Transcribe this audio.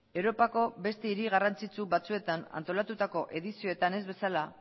europako beste hiri garrantzitsu batzuetan antolatutako edizioetan ez bezala